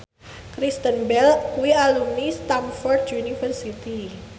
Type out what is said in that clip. Kristen Bell kuwi alumni Stamford University